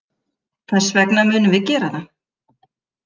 Þess vegna munum við gera það.